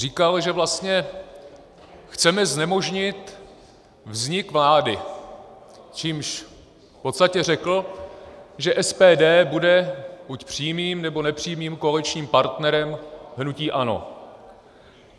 Říkal, že vlastně chceme znemožnit vznik vlády, čímž v podstatě řekl, že SPD bude buď přímým, nebo nepřímým koaličním partnerem hnutí ANO.